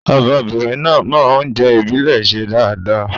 Ọmọbìnrin náà mọ oúnjẹ ìbílè ṣe dáadáa.